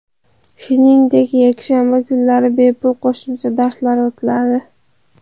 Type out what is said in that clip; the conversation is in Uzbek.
Shuningdek yakshanba kunlari bepul qo‘shimcha darslar o‘tiladi.